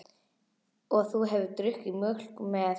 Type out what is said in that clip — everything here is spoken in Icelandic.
Og þú hefur drukkið mjólk með.